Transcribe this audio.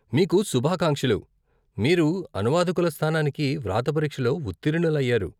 మీకు శుభాకాంక్షలు! మీరు అనువాదకుల స్థానానికి వ్రాత పరీక్షలో ఉత్తీర్ణులు అయ్యారు.